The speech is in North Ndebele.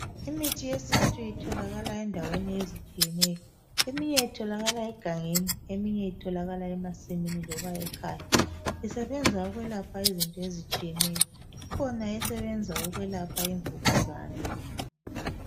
Imithi yesintu itholakala endaweni ezitshiyeneyo, eminye itholakala egangeni, eminye itholakala emasimini loba ekhaya, isebenza ukwelapha izinto ezitshiyeneyo, kukhona esebenza ukwelapha imvukuzane.